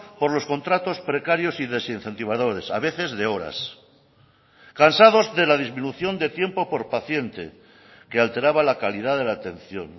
por los contratos precarios y desincentivadores a veces de horas cansados de la disminución de tiempo por paciente que alteraba la calidad de la atención